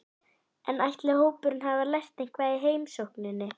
En ætli hópurinn hafi lært eitthvað í heimsókninni?